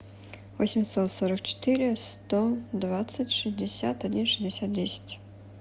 восемьсот сорок четыре сто двадцать шестьдесят один шестьдесят десять